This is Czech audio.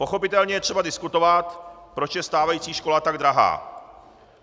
Pochopitelně je třeba diskutovat, proč je stávající škola tak drahá.